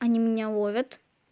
они меня ловят